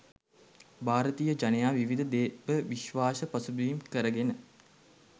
භාරතීය ජනයා විවිධ දේව විශ්වාස පසුබිම් කරගෙන